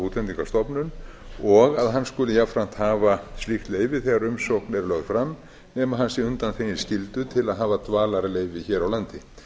útlendingastofnun og að hann skuli jafnframt hafa slíkt leyfi þegar umsókn er lögð fram nema hann sé undanþeginn skyldu til að hafa dvalarleyfi hér a landi